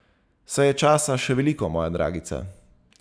Saj je časa še veliko, moja dragica.